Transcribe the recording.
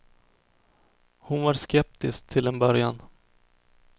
Hon var skeptisk till en början.